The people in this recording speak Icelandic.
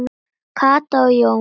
Katla og Jón.